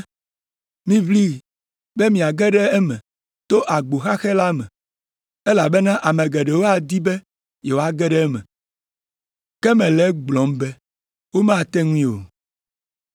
“Miʋli be miage ɖe eme to agbo xaxɛ la me, elabena ame geɖewo adi be yewoage ɖe eme, ke mele egblɔm be womate ŋui o.